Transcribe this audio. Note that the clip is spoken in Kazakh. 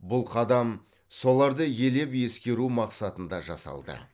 бұл қадам соларды елеп ескеру мақсатында жасалды